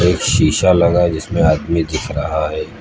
शीशा लगा है जिसमें आदमी दिख रहा है।